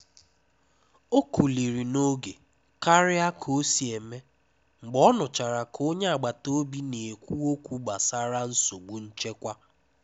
Ọ́ kúlirí n’ógé kárịá ká ó sí émé mgbé ọ́ nụ́chará ká ónyé àgbátá òbí ná-ékwú ókwú gbásárá nsógbú nchékwà.